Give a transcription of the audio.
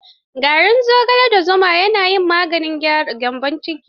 Garin zogale da zuma ne ya yi min maganin gyambon ciki.